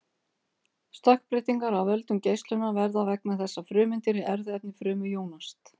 stökkbreytingar af völdum geislunar verða vegna þess að frumeindir í erfðaefni frumu jónast